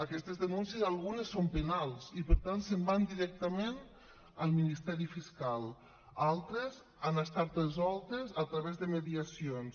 aquestes denúncies algunes són penals i per tant se’n van directament al ministeri fiscal altres han estat resoltes a través de mediacions